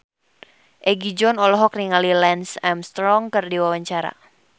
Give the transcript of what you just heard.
Egi John olohok ningali Lance Armstrong keur diwawancara